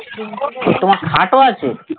তোমার খাট ও আছে?